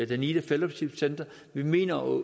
danida fellowship centre og vi mener at